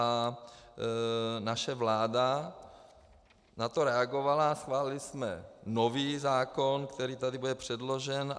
A naše vláda na to reagovala a schválili jsme nový zákon, který tady bude předložen.